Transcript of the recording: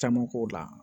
Caman k'o la